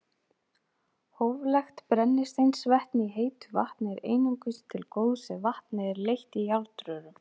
Hóflegt brennisteinsvetni í heitu vatni er einungis til góðs ef vatnið er leitt í járnrörum.